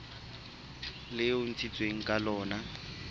leo e ntshitsweng ka lona